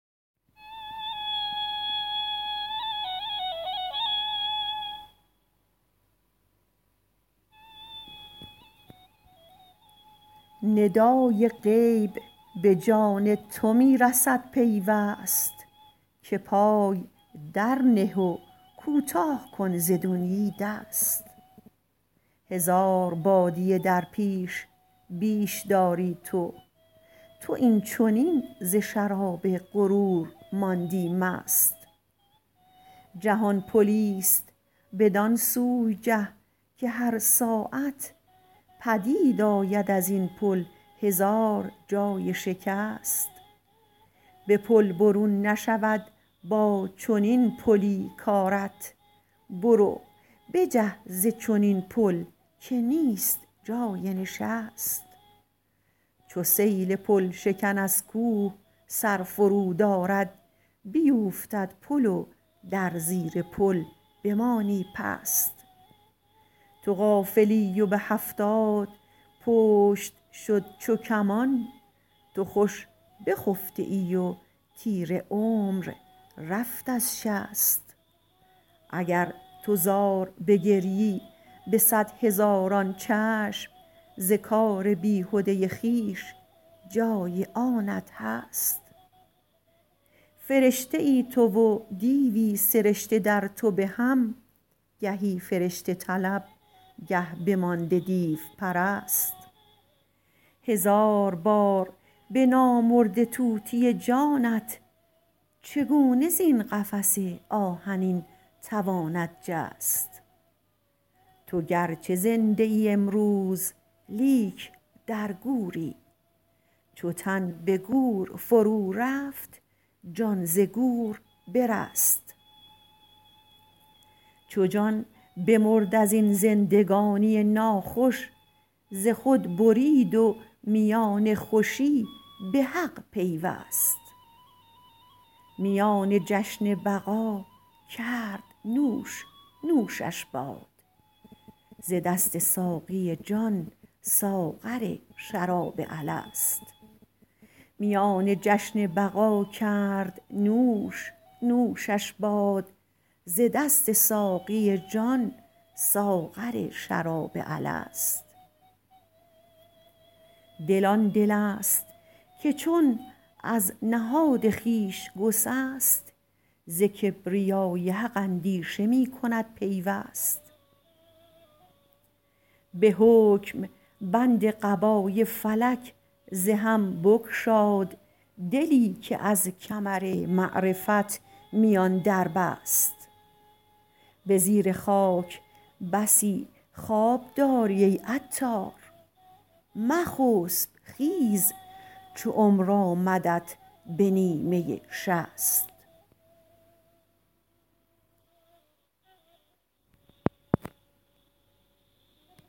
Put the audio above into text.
ندای غیب به جان تو می رسد پیوست که پای در نه و کوتاه کن ز دنیی دست هزار بادیه در پیش بیش داری تو تو این چنین ز شراب غرور ماندی مست جهان پلی است بدان سوی جه که هر ساعت پدید آید ازین پل هزار جای شکست به پل برون نشود با چنین پلی کارت برو بجه ز چنین پل که نیست جای نشست چو سیل پل شکن از کوه سر فرود آرد بیوفتد پل و در زیر پل بمانی پست تو غافلی و به هفتاد پشت شد چو کمان تو خوش بخفته ای و تیر عمر رفت از شست اگر تو زار بگریی به صد هزاران چشم ز کار بیهده خویش جای آنت هست فرشته ای تو و دیوی سرشته در تو به هم گهی فرشته طلب گه بمانده دیو پرست هزار بار به نامرده طوطی جانت چگونه زین قفس آهنین تواند جست تو گرچه زنده ای امروز لیک در گوری چو تن به گور فرو رفت جان ز گور برست چو جان بمرد از این زندگانی ناخوش ز خود برید و میان خوشی به حق پیوست میان جشن بقا کرد نوش نوشش باد ز دست ساقی جان ساغر شراب الست دل آن دل است که چون از نهاد خویش گسست ز کبریای حق اندیشه می کند پیوست به حکم بند قبای فلک ز هم بگشاد دلی که از کمر معرفت میان در بست به زیر خاک بسی خواب داری ای عطار مخسب خیز چو عمر آمدت به نیمه شصت